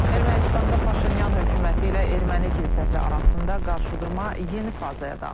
Ermənistanda Paşinyan hökuməti ilə Erməni kilsəsi arasında qarşıdurma yeni fazaya daxil olub.